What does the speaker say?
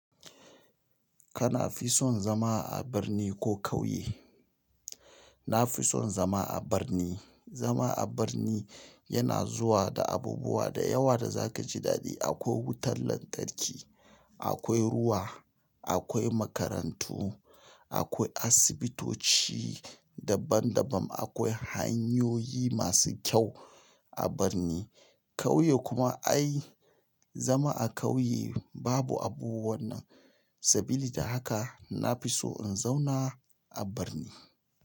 Kana fison zama a birni ko ƙauye? Na fi son zama a birni. Zama a birni yana zuwa da abubuwa da yawa da za ka ji daɗi. Akwai wutar lantarki, akwai ruwa, akwai makarantu, akwai asibitoci daban-daban, akwai hanyoyi masu kyau a birni. Ƙauye kuma ai zama a ƙauye babu abubuwan nan. Sabili da haka, na fi so in zauna a birni.